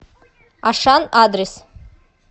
ашан адрес